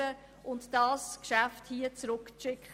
Wir können das Geschäft zurückzuschicken.